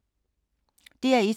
DR1